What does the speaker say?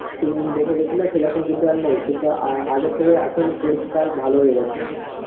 দেখে গেছিলা সেরকম কিন্তু আর নেই. কিন্তু আ~ আগের থেকে এখন পরিষ্কার ভালো হয়ে গেছে.